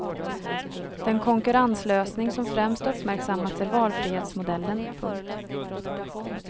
Den konkurrenslösning som främst uppmärksammats är valfrihetsmodellen. punkt